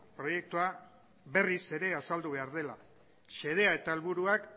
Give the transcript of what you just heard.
proiektua berriz ere azaldu behar dela xedea eta helburuak